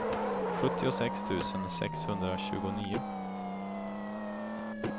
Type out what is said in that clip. sjuttiosex tusen sexhundratjugonio